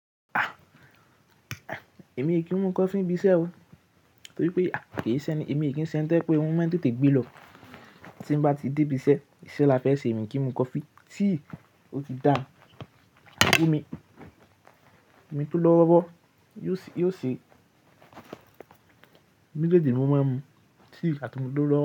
Ah! Èmi i kì í mu coffee ibi iṣẹ́ o, torí pé, a, èmi kì í ṣe ẹni, èmi kì í ṣe ẹni tó yẹ pé orun maà te te gbelọ. Tí n bá ti dé ibi iṣẹ́, iṣẹ́ la fẹ́ ṣe, èmi kì í mu coffee, tea ó ti dá, àbí omi òmi tó lọ́ wọ́rọ́ yóò ṣe, méjèèjì ni mo máa ń mu, tea àti omi tó lọ́wọ́ro.